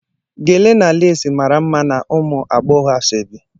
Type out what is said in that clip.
Gele na lace mara mma na ụmụ agbọghọ asaobi.